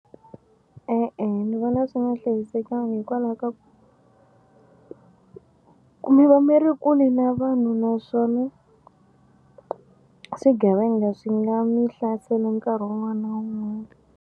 E-e ni vona swi nga hlayisekanga hikwalaho ka ku mi va mi ri kule na vanhu naswona swigevenga swi nga mi hlasela nkarhi wun'wana na wun'wana.